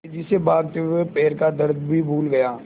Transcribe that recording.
तेज़ी से भागते हुए वह पैर का दर्द भी भूल गया